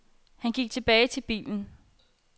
Han gik tilbage til bilen.